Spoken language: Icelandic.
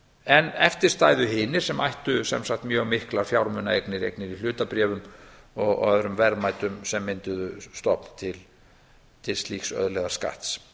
en eftir stæðu hinir sem ættu sem sagt mjög miklar fjármunaeignir eignir í hlutabréfum og öðrum verðmætum sem mynduðu stofn til slíks auðlegðarskatts